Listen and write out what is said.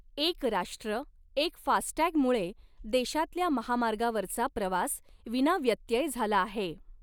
एक राष्ट्र एक फास्टटॅग मुळे देशातल्या महामार्गावरचा प्रवास विनाव्यत्यय झाला आहे.